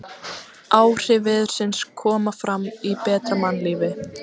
Áhrif veðursins koma fram í betra mannlífi.